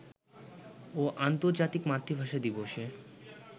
ও আর্ন্তর্জাতিক মাতৃভাষা দিবসে